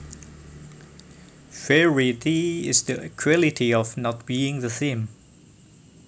Variety is the quality of not being the same